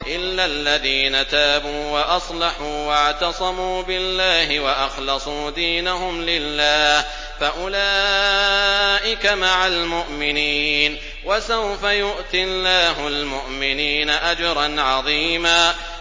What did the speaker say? إِلَّا الَّذِينَ تَابُوا وَأَصْلَحُوا وَاعْتَصَمُوا بِاللَّهِ وَأَخْلَصُوا دِينَهُمْ لِلَّهِ فَأُولَٰئِكَ مَعَ الْمُؤْمِنِينَ ۖ وَسَوْفَ يُؤْتِ اللَّهُ الْمُؤْمِنِينَ أَجْرًا عَظِيمًا